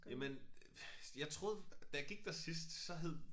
Jamen jeg troede da jeg gik der sidst så hed